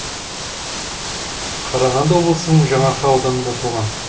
қарағанды облысының жаңаарқа ауданында туған